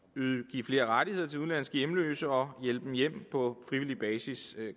give flere rettigheder til udenlandske hjemløse og hjælpe dem hjem på frivillig basis